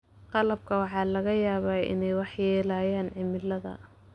Qalabka waxaa laga yaabaa inay waxyeeleeyaan cimilada.